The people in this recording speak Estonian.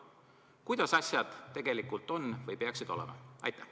Kuidas asjad tegelikult on või peaksid olema?